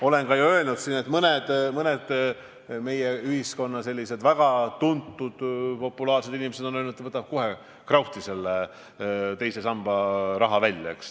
Olen siin ka öelnud, et mõned meie ühiskonnas väga tuntud, populaarsed inimesed on öelnud, et võtavad kohe krauhti teise samba raha välja.